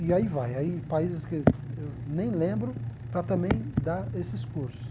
E aí vai, aí países que eu nem lembro para também dar esses cursos.